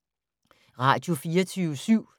Radio24syv